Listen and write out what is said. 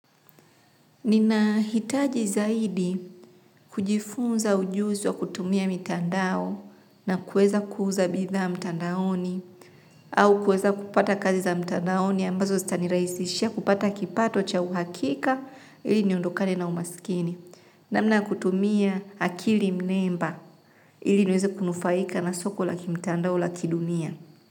Nina hitaji zaidi kujifunza ujuzi wa kutumia mitandao na kueza kuuza bidha mtandaoni au kuweza kupata kazi za mtandaoni ambazo zitanirahisishia kupata kipato cha uhakika ili niondokane na umaskini namna ya kutumia akili mnemba ili niweze kunufaika na soko la kimtandao la kidunia.